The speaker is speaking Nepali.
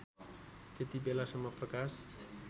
त्यति बेलासम्म प्रकाश